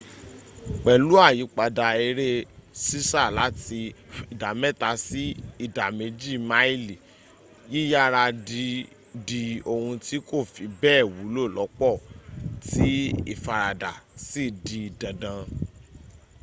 pẹ̀lú àyípadà eré sísá láti ìdámẹ́ta sí ìdá méjì máìlì yíyára dí ohun tí kò fi bẹ́ẹ̀ wúlò lọ́pọ̀ tí ìfaradà sì di dandan